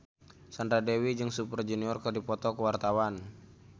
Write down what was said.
Sandra Dewi jeung Super Junior keur dipoto ku wartawan